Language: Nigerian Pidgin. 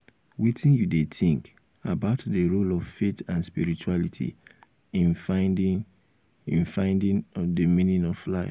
wetin you dey um think about di role of faith and spirituality in finding di finding di meaning of life.